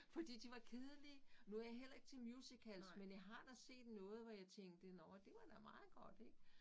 Fordi de var kedelige. Nu jeg heller ikke til musicals men jeg har da set noget hvor jeg tænkte nåh det var da meget godt ik